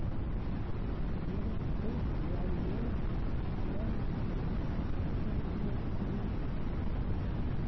Dugsiyada waxay bixiyaan meel ammaan ah oo waxbarasho iyo korriin.